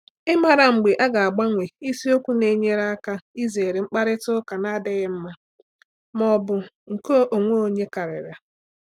Ịmara mgbe a ga-agbanwe isiokwu na-enyere aka izere mkparịta ụka na-adịghị mma ma ọ bụ nke onwe onye karịrị.